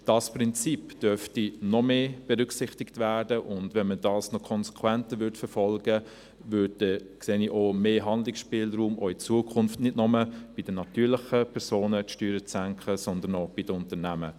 Dieses Prinzip dürfte noch mehr berücksichtigt werden, und wenn man dies noch konsequenter verfolgte, sehe ich auch in Zukunft mehr Handlungsspielraum, die Steuern zu senken, nicht nur bei den natürlichen Personen, sondern auch bei den Unternehmen.